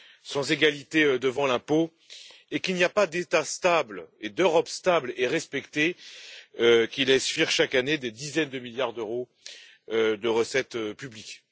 sans égalité devant l'impôt et qu'il n'y a pas d'État stable et d'Europe stable et respectée qui laissent fuir chaque année des dizaines de milliards d'euros de recettes publiques.